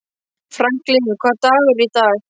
Franklin, hvaða dagur er í dag?